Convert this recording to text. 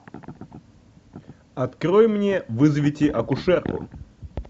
открой мне вызовите акушерку